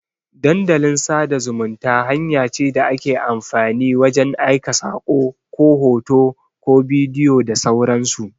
Dandalin sada zumunta hanya ce da ake amfani wajan aika sako, ko hoto, ko bidiyo da sauran su